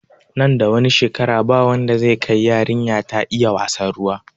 Nan da wani shekara ba wanda zai kai yarinya ta iya wassan ruwa